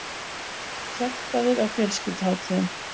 Sektaðir á fjölskylduhátíðum